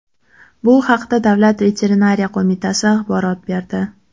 Bu haqda Davlat veterinariya qo‘mitasi axborot berdi .